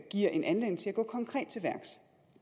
giver en anledning til at gå konkret til værks